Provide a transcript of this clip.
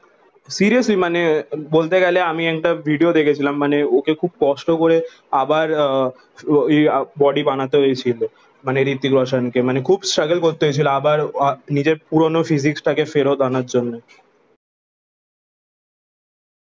seriously মানে বলতে গেলে আমি আমি একটা ভিডিও দেখে ছিলাম মানে ওকে খুব কষ্ট করে আবার আহ বডি বানাতে হয়েছিল মানে হৃত্বিক রোশান কে মানে খুব স্ট্রাগেল করতে হয়েছিল আবার নিজের পুরানো ফিজিক টা কে ফেরত আনার জন্যে